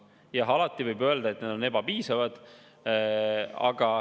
Jah, alati võib öelda, et need on ebapiisavad.